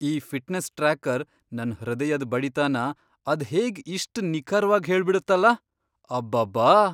ಈ fitness tracker ನನ್ ಹೃದಯದ್ ಬಡಿತನ ಅದ್ಹೇಗ್ ಇಷ್ಟ್ ನಿಖರ್ವಾಗ್ ಹೇಳ್ಬಿಡತ್ತಲ! ಅಬ್ಬಬ್ಬಾ!